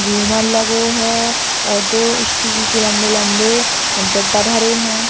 झूमर लगो है और दो स्टील के लम्बे-लम्बे डब्बा धरे हैं।